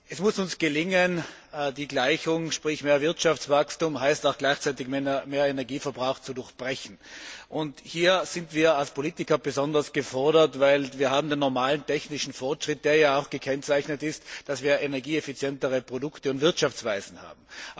Es muss uns gelingen, die Gleichung mehr Wirtschaftswachstum heißt auch gleichzeitig mehr Energieverbrauch zu durchbrechen. Hier sind wir als Politiker besonders gefordert, weil wir den normalen technischen Fortschritt haben, der ja auch dadurch gekennzeichnet ist, dass wir energieeffizientere Produkte und Wirtschaftsweisen haben.